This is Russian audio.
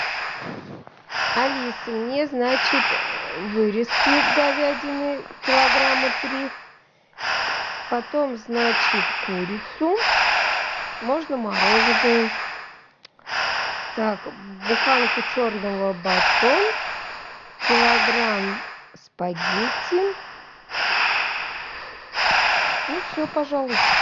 алиса мне значит вырезки говядины килограмма три потом значит курицу можно мороженную так буханку черного батон килограмм спагетти ну и все пожалуй